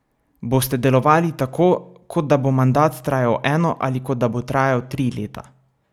Boste delovali tako, kot da bo mandat trajal eno ali kot da bo trajal tri leta?